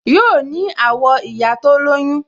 Yoo ní àwọ̀ ìyá tó lóyún